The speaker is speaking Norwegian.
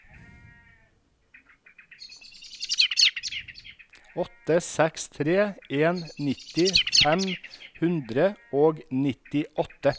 åtte seks tre en nitti fem hundre og nittiåtte